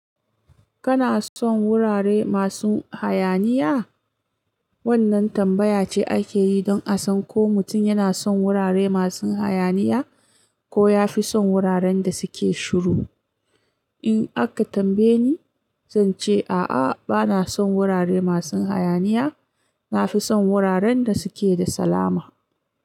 Kana son wurare masun hayaniya? Wannan tambaya ce ake yi don a san ko mutum yana son wurare masun hayaniya ko ya fi son wuraren da suke shiru. In aka tambaye ni, zan ce a'a, bana son wurare masun hayaniya. Na fi son wuraren da suke da salama.